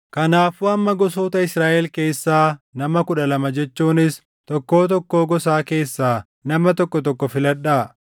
Kanaafuu amma gosoota Israaʼel keessaa nama kudha lama jechuunis tokkoo tokkoo gosaa keessaa nama tokko tokko filadhaa.